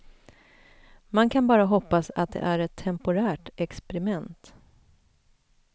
Man kan bara hoppas att det är ett temporärt experiment.